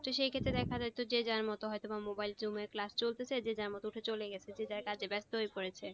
তো সেক্ষেত্রে দেখা যেত যে যে যার মতো হয়তো বা mobile zoom এ চলতেছে যে যার মতো উঠে চলে গেছে যে যার কাজে ব্যাস্ত হয়ে পড়েছে